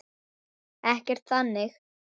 Ekkert þannig.